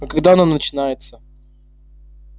а когда оно начинается